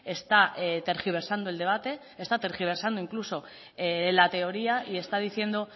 está tergiversando el debate está tergiversando incluso la teoría y está diciendo